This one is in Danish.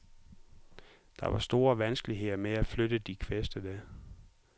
Der var store vanskeligheder med at flytte de kvæstede.